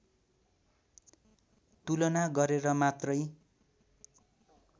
तुलना गरेर मात्रै